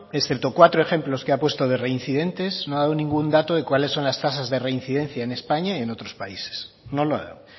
excepto cuatro ejemplos que ha puesto de reincidentes no ha dado ningún dato de cuáles son las tasas de reincidencia en españa y en otros países no lo ha dado